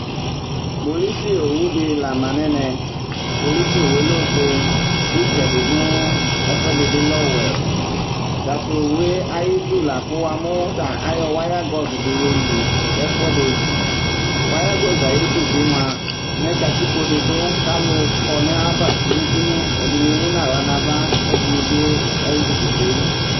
kpolusi owu di la ma n'ɛmɛ kpolusi owue lɛ ofue itsɛdi no ɛfu ɛdi bi lɛ ɔwɛ ta to owue ayi du la kò wa mo ta ayɔ wayagɔs di yo li ɛfu ɛdi wayagɔs yɛ ayi du bi moa mɛ katikpo di du k'alò kɔ n'ayi ava kunu kunu ɛdini emu n'ala n'ava k'ɛdini bi ezikuti.